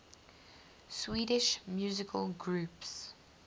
swedish musical groups